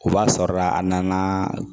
O b'a sɔrɔla a nana